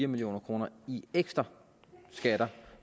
million kroner i ekstra skat